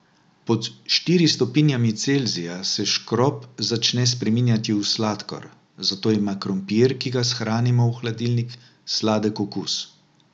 Pod štiri stopinjami Celzija se škrob začne spreminjati v sladkor, zato ima krompir, ki ga shranimo v hladilnik sladek okus.